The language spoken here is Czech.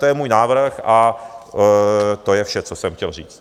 To je můj návrh a to je vše, co jsem chtěl říct.